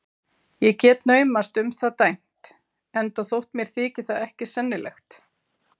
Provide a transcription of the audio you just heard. Ég get naumast um það dæmt, enda þótt mér þyki það ekki sennilegt.